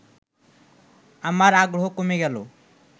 আমার আগ্রহ কমে গেল